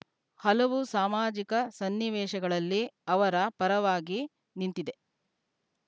ಹಲವು ಸಾಮಾಜಿಕ ಸನ್ನಿವೇಶಗಳಲ್ಲಿ ಅವರ ಪರವಾಗಿ ನಿಂತಿದೆ